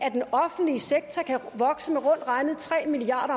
at den offentlige sektor kan vokse med rundt regnet tre milliard